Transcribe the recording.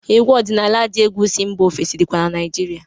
Egwu ọdịnala dị egwu si mba ofesi dịkwa na Naijirịa.